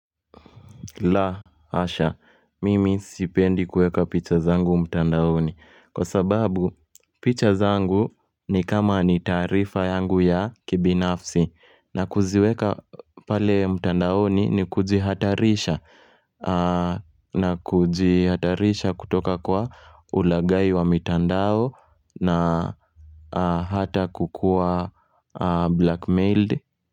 La asha, mimi sipendi kueka picha zangu mtandaoni kwa sababu picha zangu ni kama ni taarifa yangu ya kibinafsi na kuziweka pale mtandaoni ni kujihatarisha na kujihatarisha kutoka kwa ulaghai wa mitandao na hata kukuwa blackmailed.